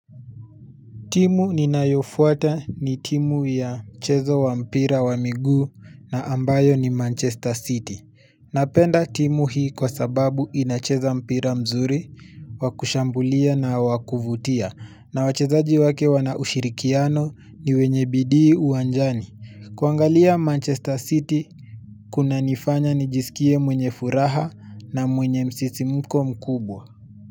Timu ninayofuata ni timu ya mchezo wa mpira wa miguu na ambayo ni Manchester City. Napenda timu hii kwa sababu inacheza mpira mzuri, wa kushambulia na wa kuvutia, na wachezaji wake wana ushirikiano, ni wenye bidii uwanjani. Kuangalia Manchester City, kunanifanya nijisikie mwenye furaha na mwenye msisimuko mkubwa.